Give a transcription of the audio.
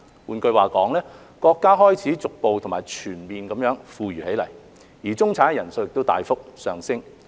換句話說，國家開始逐步和全面地富裕起來，中產人數亦大幅上升。